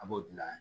A b'o dilan